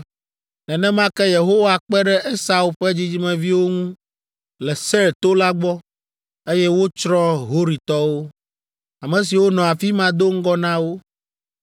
Nenema ke Yehowa kpe ɖe Esau ƒe dzidzimeviwo ŋu le Seir to la gbɔ, eye wotsrɔ̃ Horitɔwo, ame siwo nɔ afi ma do ŋgɔ na wo.